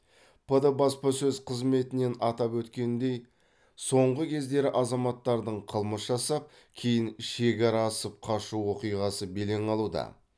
пд баспасөз қызметінен атап өткендей соңғы кездері азаматтардың қылмыс жасап кейін шекара асып қашу оқиғасы белең алуда